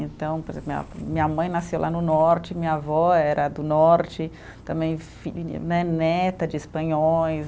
Então, por exemplo, minha minha mãe nasceu lá no norte, minha avó era do norte, também fi né neta de espanhóis.